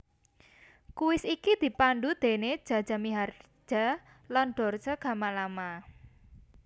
Kuis iki dipandu déné Jaja Miharja lan Dorce Gamalama